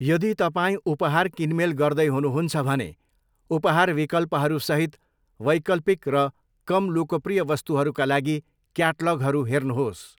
यदि तपाईँ उपहार किनमेल गर्दै हुनुहुन्छ भने उपहार विकल्पहरूसहित वैकल्पिक र कम लोकप्रिय वस्तुहरूका लागि क्याटलगहरू हेर्नुहोस्।